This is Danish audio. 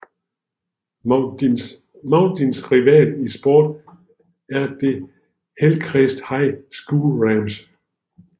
Mauldins rival i sport er de Hillcrest High School Rams